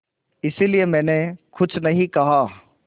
इसलिए मैंने कुछ नहीं कहा